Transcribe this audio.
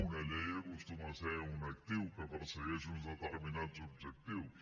una llei acostuma a ser un actiu que persegueix uns determinats objectius